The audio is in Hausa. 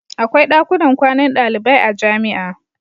Akwai dakunan kwanan dalibai a jami'a.